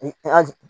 An